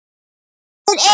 Hann þýtur inn.